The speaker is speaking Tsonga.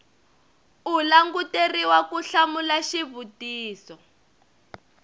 u languteriwa ku hlamula xivutiso